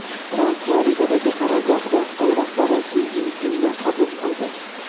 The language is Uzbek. Tramp Floridadagi qarorgohida Xitoy rahbari Si Szinpinni qabul qildi.